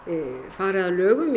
fari að lögum í